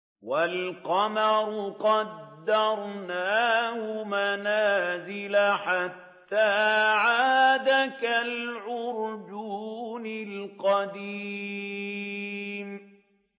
وَالْقَمَرَ قَدَّرْنَاهُ مَنَازِلَ حَتَّىٰ عَادَ كَالْعُرْجُونِ الْقَدِيمِ